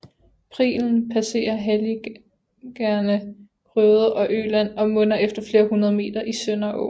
Prilen passerer halligerne Grøde og Øland og munder efter flere hundred meter i Sønderaaen